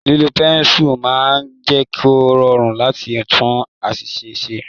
Lílo pẹ́nsu máa ń jẹ kò rọrùn láti tún àṣìṣe ṣe.